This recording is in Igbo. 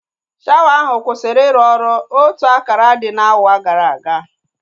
Shawa ahụ kwụsịrị iru ọrụ otu akara dị n'awa gara aga